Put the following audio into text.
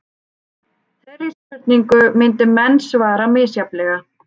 Þeirri spurningu myndu menn svara misjafnlega.